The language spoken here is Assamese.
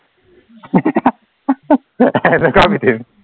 তথাপিতো